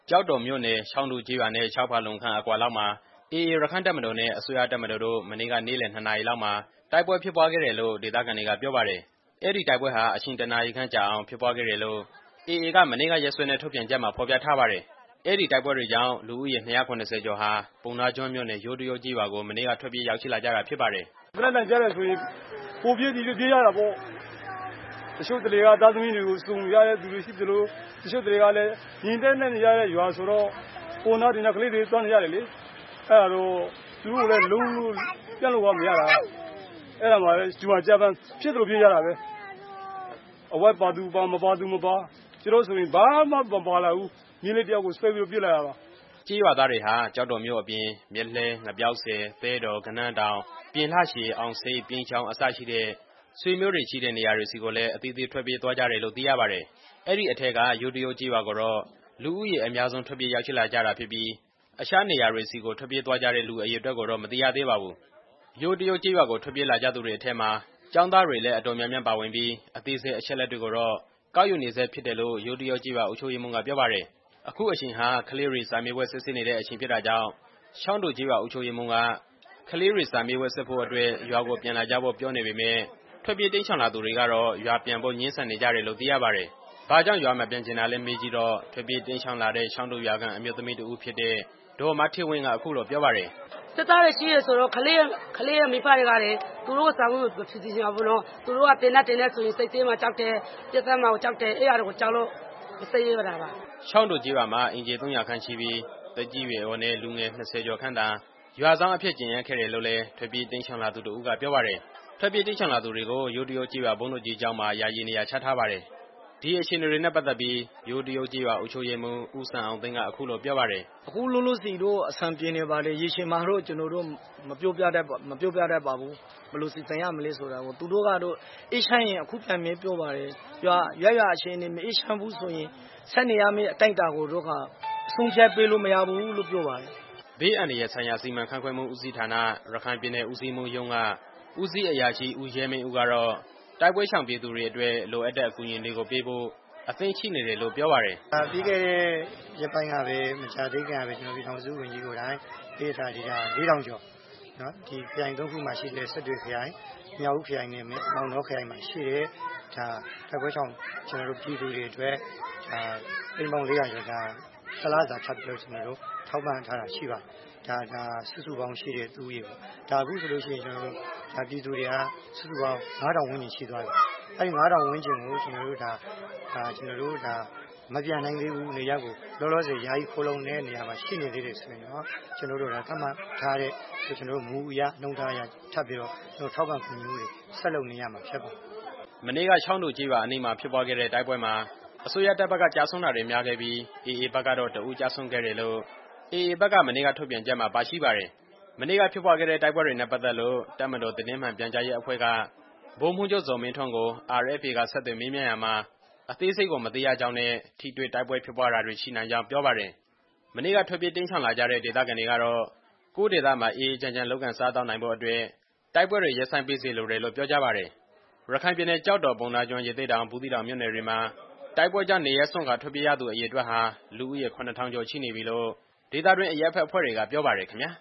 ကျောက်တော်မြို့နယ် ချောင်းတူကျေးရွာနဲ့ ၆ ဖာလုံခန့်လောက်အကွာမှာ AA ရက္ခိုင့်တပ်မတော်နဲ့ အစိုးရတပ်မတော်တို့ မနေ့က နေ့လယ် ၂ နာရီလောက်မှာ တိုက်ပွဲဖြစ်ပွားခဲ့တယ်လို့ ဒေသခံတွေကပြောပါတယ်။ အဲဒီတိုက်ပွဲဟာ အချိန် ၁ နာရီခန့်ကြာအောင် ဖြစ်ပွားခဲ့တယ်လို့ AA က မနေ့ကရက်စွဲနဲ့ ထုတ်ပြန်ချက်မှာ ဖော်ပြထားပါတယ်။ အဲဒီတိုက်ပွဲတွေကြောင့် လူဦးရေ ၂၇၀ ကျော်ဟာ ပုဏ္ဏားကျွန်းမြို့နယ် ယိုးတရုပ်ကျေးရွာကို မနေ့က ထွက်ပြေးရောက်ရှိလာကြတာဖြစ်ပါတယ်။ "လက်နက်သံကြားတာနဲ့ ဟိုပြေးဒီပြေး ပြေးရတာပေါ့။ ကြုံရာကို ဖြစ်သလိုပြေးကြရတာ။ အဝတ်အစားပါသူပါ၊ မပါသူ မပါနဲ့ ကျွန်တော်ဆိုရင်လည်း ဘာမှမပါလာဘူး။ မြေးလေးတစ်ယောက်ကို ဆွဲပြီးတော့ ပြေးလာတာပါ" ချောင်းတူကျေးရွာကနေပြီး မနေ့ကထွက်ပြေးလာတဲ့ ဦးမြင့်မောင်က ပြောသွားတာပါ။ ကျေးရွာသားတွေဟာ ကျောက်တော်မြို့အပြင် မြတ်လှဲ၊ ငပြောက်ဆည်၊ သဲတော်၊ ဂဏန်းတောင်၊ ပြင်လှရှည်၊ အောင်ဆိပ်၊ ပြိန်းချောင်း အစရှိတဲ့ ဆွေမျိုးတွေရှိတဲ့နေရာတွေဆီကိုလည်း အသီးသီး ထွက်ပြေးသွားကြတယ်လို့ သိရပါတယ်။ အဲဒီအထဲက ယိုးတရုပ် ကျေးရွာကိုတော့ လူဦးရေ အများဆုံး ထွက်ပြေးရောက်ရှိလာကြတာဖြစ်ပြီး အခြားနေရာတွေဆီကို ထွက်ပြေးသွားကြတဲ့ လူအရေအတွက်ကိုတော့ မသိရသေးပါဘူး။ ယိုးတရုပ်ကျေးရွာကို ထွက်ပြေးလာကြသူတွေထဲမှာ ကျောင်းသားတွေလည်း အတော်များများ ပါဝင်ပြီး အသေးစိတ် အချက်အလက်ကိုတော့ ကောက်ယူနေဆဲဖြစ်တယ်လို့ ယိုးတရုပ်ကျေးရွာ အုပ်ချုပ်ရေးမှူးက ပြောပါတယ်။ အခုအချိန်ဟာ ကလေးတွေကို စာမေးပွဲစစ်ဆေးနေတဲ့အချိန် ဖြစ်တာကြောင့် ချောင်းတူကျေးရွာ အုပ်ချုပ်ရေးမှူးက ကလေးတွေ စာမေးပွဲစစ်ဖို့အတွက် ရွာကိုပြန်လာဖို့ပြောနေပေမယ့် ထွက်ပြေးတိမ်းရှောင်လာသူတွေကတော့ ရွာပြန်ဖို့ ငြင်းဆန်နေကြတယ်လို့ သိရပါတယ်။ ဘာကြောင့် ရွာမပြန်ချင်တာလဲလို့ မေးကြည့်တော့ ထွက်ပြေးတိမ်းရှောင်လာတဲ့ ချောင်းတူရွာခံ အမျိုးသမီးတစ်ဦးဖြစ်တဲ့ ဒေါ်မဌေးဝင်းက အခုလိုပြောပါတယ်။ "စစ်သားတွေရှိနေတော့ ကလေးမိဘတွေက သူတို့ကို စာမေးပွဲ မဖြေစေချင်ဘူးပေါ့နော်။ သူတို့က သေနတ်တွေနဲ့ဆိုတော့ စစ်ဆေးခံရမှာ ကြောက်တယ်။ ပစ်သတ်မှာကို ကြောက်တယ်။ အဲဒါကိုကြောက်လို့ စာမေးပွဲမစစ်ရဲတာပါ" ချောင်းတူကျေးရွာမှာ အိမ်ခြေ ၃၀၀ ခန့်ရှိပြီး သက်ကြီးရွယ်အိုနဲ့ လူငယ် ၂၀ ကျော်ခန့်သာ ရွာစောင့်အဖြစ် ကျန်ရစ်ခဲ့တယ်လို့လည်း ထွက်ပြေးတိမ်းရှောင်လာသူတစ်ဦးက ပြောပါတယ်။ ထွက်ပြေးတိမ်းရှောင်လာသူတွေကို ယိုးတရုပ်ကျေးရွာ ဘုန်းကြီးကျောင်းမှာ ယာယီနေရာချထားပါတယ်။ ဒီအခြေအနေတွေနဲ့ပတ်သက်ပြီး ယိုးတရုပ်ကျေးရွာ အုပ်ချုပ်ရေးမှူး ဦးစံအောင်သိန်းက အခုလိုပြောပါတယ်။ "အခုလောလောဆယ်တော့ အဆင်ပြေနေပါတယ်။ ရေရှည်မှာတော့ မပြောပြတတ်ပါဘူး ဘယ်လိုစီစဉ်ရမလဲဆိုတာကို။ သူတို့ကတော့ အေးချမ်းရင် အခုပြန်မယ်လို့ ပြောပါတယ်။ ရပ်ရွာအခြေအနေ မအေးချမ်းဘူးဆိုရင် ဆက်နေရမယ့် အတိုင်းအတာကိုတော့ ဆုံးဖြတ်လို့မရဘူးလို့ ပြောကြပါတယ်" ဘေးအန္တရာယ်ဆိုင်ရာ စီမံခန့်ခွဲမှုဦးစီးဌာန၊ ရခိုင်ပြည်နယ် ဦးစီးမှူးရုံးက ဦးစီးအရာရှိ ဦးရဲမင်းဦးက တိုက်ပွဲရှောင်ပြည်သူတွေအတွက် လိုအပ်တဲ့ အကူအညီတွေပေးဖို့ အသင့်ရှိနေတယ်လို့ ပြောပါတယ်။ "ပြီးခဲ့တဲ့ရက်ပိုင်းကပဲ ပြည်ထောင်စုဝန်ကြီးကိုယ်တိုင် ခရိုင်သုံးခုမှာရှိတဲ့ တိုက်ပွဲရှောင်ပြည်သူတွေ အတွက် တစ်လစာ သိန်းပေါင်း ၄၀၀ ကျော် ထပ်ပြီး ထောက်ပံ့ထားတာရှိပါတယ်။ နေရပ်ကို မပြန်နိုင် သေးဘူး၊ လောလောဆယ် ယာယီခိုလှုံနေတဲ့နေရာမှာ ရှိနေသေးတယ်ဆိုရင်တော့ ကျွန်တော်တို့ သတ်မှတ်ထားတဲ့ မူအရ နှုန်းထားအရ ထပ်ပြီးတော့ ထောက်ပံ့ကူညီမှုတွေ ဆက်လုပ်နေရမှာဖြစ် ပါတယ်" မနေ့က ချောင်းတူကျေးရွာအနီးမှာဖြစ်ပွားခဲ့တဲ့ တိုက်ပွဲမှာ အစိုးရတပ်ဘက်က ကျဆုံးတာတွေများခဲ့ပြီး အေအေဘက်ကတော့ တစ်ဦးကျဆုံးခဲ့တယ်လို့ AA ဘက်က မနေ့က ထုတ်ပြန်ချက်မှာ ပါရှိပါတယ်။ မနေ့ကဖြစ်ပွားခဲ့တဲ့ တိုက်ပွဲနဲ့ပတ်သက်လို့ တပ်မတော်သတင်းမှန်ပြန်ကြားရေးအဖွဲ့က ဗိုလ်မှူးချုပ် ဇော်မင်းထွန်းကို RFA က ဆက်သွယ်ရာမှာ အသေးစိတ်ကို မသိရသေးကြောင်းနဲ့ ထိတွေ့တိုက်ပွဲဖြစ်ပွားတာတွေ ရှိနိုင်ကြောင်း ပြောပါတယ်။ မနေ့က ထွက်ပြေးတိမ်းရှောင်လာကြတဲ့ ဒေသခံတွေကတော့ ကိုယ့်ဒေသမှာ အေးအေးချမ်းချမ်း လုပ်ကိုင်စားသောက်နိုင်ဖို့အတွက် တိုက်ပွဲတွေ ရပ်ဆိုင်းပေးစေလိုတယ်လို့ ပြောကြပါတယ်။ ရခိုင်ပြည်နယ် ကျောက်တော်၊ ပုဏ္ဏားကျွန်း၊ ရသေ့တောင်၊ ဘူးသီးတောင်မြို့နယ်တွေမှာ တိုက်ပွဲကြောင့် နေရပ်စွန့်ခွာထွက်ပြေးနေရသူ အရေအတွက်ဟာ လူဦးရေ ၇ထောင် ကျော်ရှိနေပြီလို့ ဒေသတွင်းအရပ်ဘက်အဖွဲ့တွေက ပြောပါတယ်ခင်ဗျာ